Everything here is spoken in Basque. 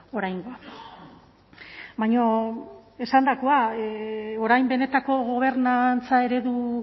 oraingoa baina esandakoa orain benetako gobernantza eredu